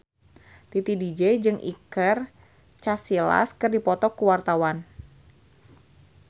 Titi DJ jeung Iker Casillas keur dipoto ku wartawan